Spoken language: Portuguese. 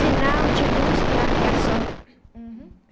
Sinal de luz para aviação. Uhum.